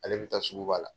Ale bɛ taa sugu ba la